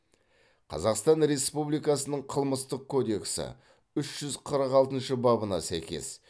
қазақстан республикасының қылмыстық кодексі үш жүз қырық алтыншы бабына сәйкес